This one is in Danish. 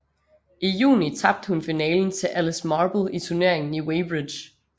I juni tabte hun finalen til Alice Marble i turneringen i Weybridge